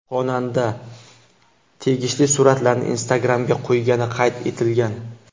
Xonanda tegishli suratlarni Instagram’ga qo‘ygani qayd etilgan.